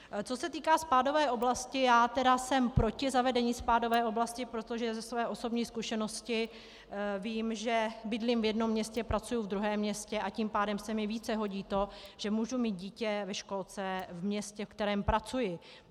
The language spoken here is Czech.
Co se týká spádové oblasti, já tedy jsem proti zavedení spádové oblasti, protože ze své osobní zkušenosti vím, že bydlím v jednom městě, pracuji ve druhém městě, a tím pádem se mi více hodí to, že mohu mít dítě ve školce v městě, ve kterém pracuji.